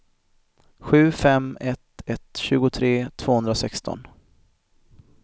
sju fem ett ett tjugotre tvåhundrasexton